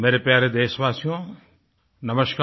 मेरे प्यारे देशवासियो नमस्कार